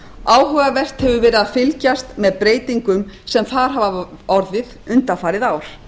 áhugavert hefur verið að fylgjast með breytingum sem þar hafa orðið undanfarið ár